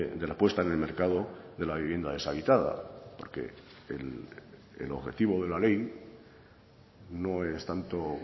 de la puesta en el mercado de la vivienda deshabitada porque el objetivo de la ley no es tanto